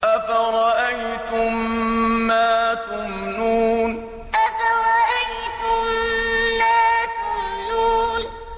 أَفَرَأَيْتُم مَّا تُمْنُونَ أَفَرَأَيْتُم مَّا تُمْنُونَ